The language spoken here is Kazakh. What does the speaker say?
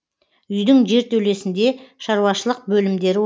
үйдің жертөлесінде шаруашылық бөлімдері